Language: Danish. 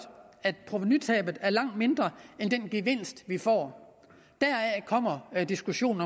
at provenutabet er langt mindre end den gevinst vi får deraf kommer diskussionen